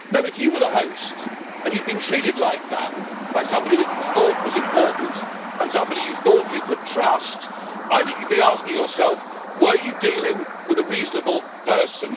If you were the host and you had been treated like that by somebody that you thought was important and somebody you thought you could trust, I think you would be asking yourself whether you were dealing with a reasonable person.